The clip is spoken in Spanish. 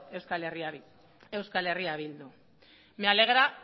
euskal herria bildu me alegra